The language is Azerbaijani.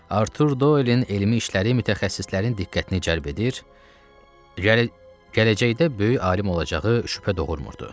Artur Doin elmi işləri mütəxəssislərin diqqətini cəlb edir, gələcəkdə böyük alim olacağı şübhə doğurmurdu.